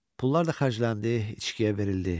Pulu da xərcləndi, içkiyə verildi.